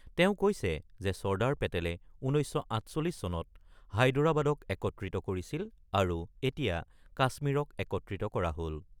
তেওঁ কৈছে যে চৰ্দাৰ পেটেলে ১৯৪৮ চনত হায়দৰাবাদক একত্ৰিত কৰিছিল আৰু এতিয়া কাশ্মীৰক একত্ৰিত কৰা হল।